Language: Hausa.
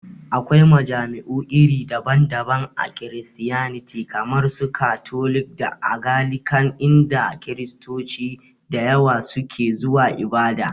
Akwai majami'u iri daban daban a Kiristiyaniti kamar su katolik da agalikan, inda Kiristoci da yawa su ke zuwa ibada